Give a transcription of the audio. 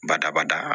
Badabada